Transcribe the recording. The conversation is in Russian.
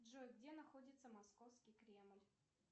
джой где находится московский кремль